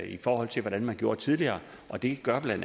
i forhold til hvordan man gjorde tidligere og det gør bla